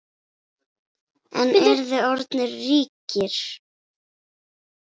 En eruð þið orðnir ríkir?